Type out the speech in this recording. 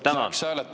Tänan!